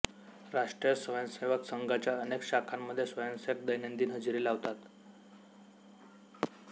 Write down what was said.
राष्ट्रीय स्वयंसेवक संघाच्या अनेक शाखांमध्ये स्वयंसेवक दैनंदिन हजेरी लावतात